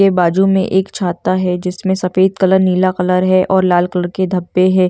ए बाजू मे एक छाता है जिसमे सफेद कलर नीला कलर है और लाल कलर के धब्बे है।